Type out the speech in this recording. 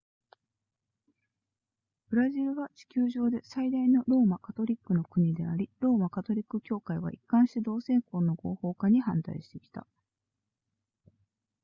ブラジルは地球上で最大のローマカトリックの国でありローマカトリック教会は一貫して同性婚の合法化に反対してきた